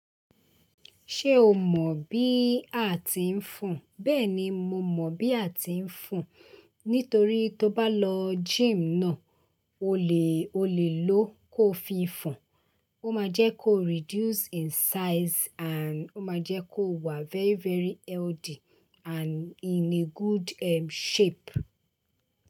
Ṣé o mọ bí àti ń fùn? Bẹ́ẹ̀ni, mo mọ bí àti ń fùn. Nítorí tó bá lọ gym náà, o lè, o lè ló kó fi ń fùn. Ó má jẹ kó reduce in size and ó má jẹ kó wà very very healthy and in a good, ehn, shape.